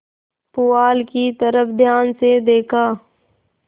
पुआल की तरफ ध्यान से देखा